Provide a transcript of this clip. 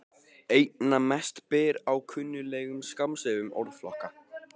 Einna mest ber á kunnuglegum skammstöfunum orðflokka.